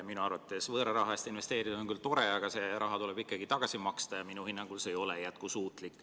Minu arvates on võõra raha eest investeerida küll tore, aga see raha tuleb ka tagasi maksta ja minu hinnangul ei ole see jätkusuutlik.